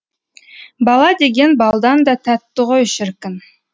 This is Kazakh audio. бала деген балдан да тәтті ғой шіркін